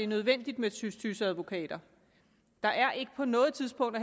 nødvendigt med tys tys advokater der er ikke på noget tidspunkt